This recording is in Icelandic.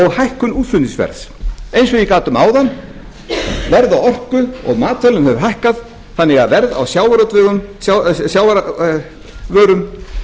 hækkun útflutningsverðs eins og ég gat um áðan verð á orku og matvælum hefur hækkað þannig að verð á sjávarvörum